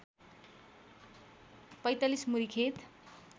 ४५ मुरी खेत